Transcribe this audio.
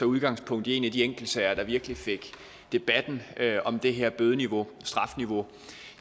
udgangspunkt i en af de enkeltsager der virkelig fik debatten om det her bødeniveau strafniveau